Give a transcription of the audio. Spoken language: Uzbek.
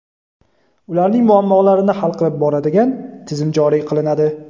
ularning muammolarini hal qilib boradigan tizim joriy qilinadi.